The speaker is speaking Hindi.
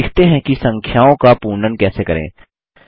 अब सीखते हैं कि संख्याओं का पूर्णन कैसे करें